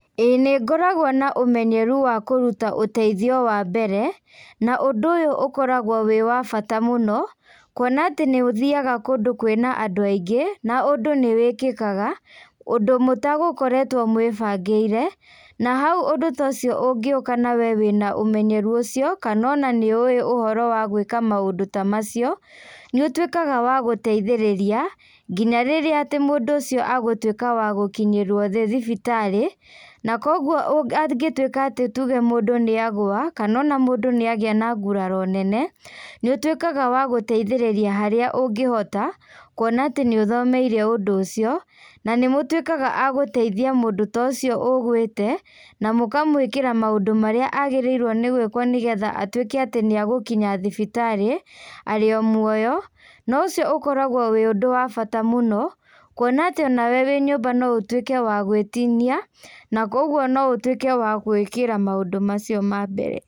ĩĩ nĩ ngoragwo na ũmenyeru wa kũruta ũteithio wa mbere, na ũndũ ũyũ ũkoragwo wĩ wa bata mũno, kuona atĩ nĩũthiaga kũndũ kwĩna andũ aingĩ na ũndũ nĩwĩkĩkaga, ũndũ mũtagũkoretwo mũĩbangĩire na hau ũndũ ta ũcio ũngĩũka na wee wĩna ũmenyeru ũcio kana ona nĩũe ũhoro wa gwĩka maũndũ ta macio nĩũtuĩkaga wa gũteithĩrĩria nginya rĩrĩa atĩ mũndũ ũcio agũtuĩka wa gũkinyĩrio nĩ thibitarĩ. Na koguo angĩtuĩka atĩ tuge mũndũ nĩagũa kana ona mũndũ nĩagĩa na nguraro nene nĩũtuĩkaga wa gũteithĩrĩria harĩa ũngĩhota, kuona atĩ nĩũthomeire ũndũ ũcio na nĩmũtuĩkaga a gũteithia mũndũ ta ũcio ũgwĩte na mũkamwĩkĩra maũndũ marĩa agĩrĩirwo nĩ gũĩkwo nĩgetha atuĩke atĩ nĩegũkinya thibitarĩ arĩ o muoyo. Na ũcio ũkoragwo wĩ ũndũ wa bata mũno kuona atĩ onawe wĩ nyũmba no ũtuĩke wa gwĩtinia na koguo no ũtuĩke wa kwĩĩkeĩra maũndũ macio ma mbere.